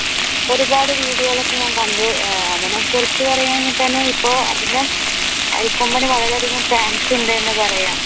ഒരുപാട് വിഡിയോകൾ ഒക്കെ ഞാൻ കണ്ടു അവനെ കുറിച്ച് പറയാനാണെങ്കിൽ തന്നെ ഇപ്പൊ അതിന് അരിക്കൊമ്പൻ വളരെ അധികം fans ഉണ്ട് എന്ന് പറയാം.